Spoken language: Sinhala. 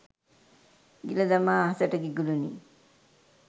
ගිලදමා අහසට ඉගිලූනි